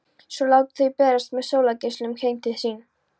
Svo láta þau berast með sólargeislunum heim til sín.